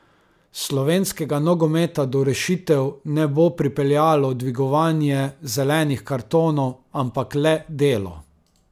Slovenskega nogometa do rešitev ne bo pripeljalo dvigovanje zelenih kartonov, ampak le delo.